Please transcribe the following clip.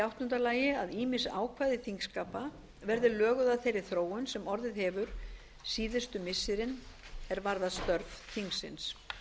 áttunda að ýmis ákvæði þingskapa verði löguð að þeirri þróun sem orðið hefur síðustu missirin er varðar störf þingsins